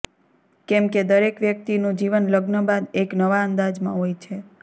કેમ કે દરેક વ્યક્તિનું જીવન લગ્ન બાદ એક નવા અંદાજમાં હોય છે